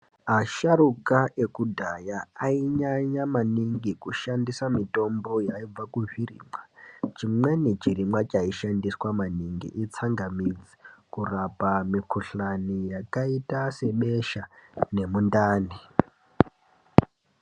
Asharuka ekudhaya ainyanya maningi kushandisa mitombo yaibva kuzvirimwa. Chimweni chirimwa chaishandiswa maningi itsangamidzi kurapa mukhudhlani yakaita sebesha nemundani.